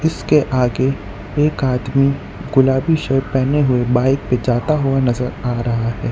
उसके आगे एक आदमी गुलाबी शर्ट पहने हुए बाइक से जाता हुआ नजर आ रहा है।